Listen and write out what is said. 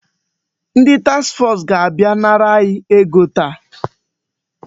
Ndị taks fọs ga-abịa nara anyị ego taa.